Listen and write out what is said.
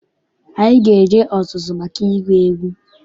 Anyị ga-eje ọzụzụ maka ịgụ egwu.